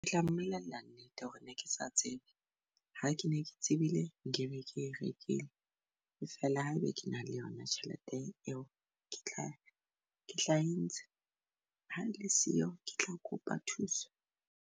Ke tla mmolella nnete hore ne ke sa tsebe ha ke ne ke tsebile nkebe ke rekile. E feela ha ebe ke na le yona tjhelete eo ke tla ke tla e ntsha ha e le siyo, ke tla kopa thuso.